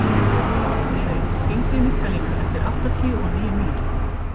Friðey, hringdu í Mikkalínu eftir áttatíu og níu mínútur.